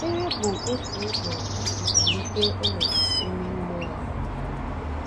Ekpere bụ otu ụzọ isi zụlite ọnọdụ ime mmụọ anyị.